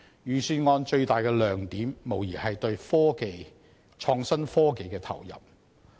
預算案最大的亮點，無疑是對創新及科技的投入。